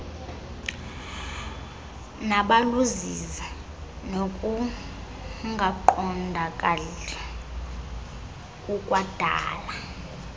nabuluzizi nokungaqondakali kukwadala